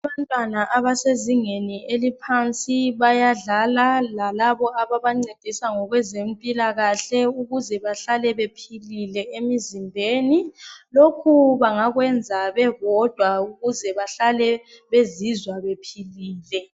Abantwana abasezingeni eliphansi bayadlala lalabo ababancedisa ngokwezempilakahle ukuze bahlale bephilile emizimbeni lokhu bangakwenza bebodwa ukuze bahlale bezizwa bephilile.